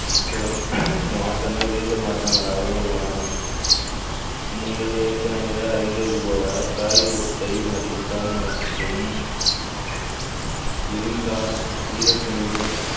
சில மாற்றங்கள் வேதியல் மாற்றங்களாகவும் உள்ளன நீங்கள் ஏற்கனவே அறிந்தது போல காகிதத்தை மடித்தால் மட்டும் விரிந்தால் ஈரத்துணிகள்